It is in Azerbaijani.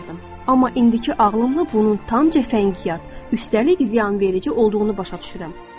Amma indiki ağlımla bunun tam cəfəngiyat, üstəlik ziyanverici olduğunu başa düşürəm.